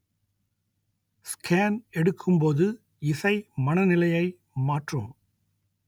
scan எடுக்கும்போது இசை மனநிலையை மாற்றும்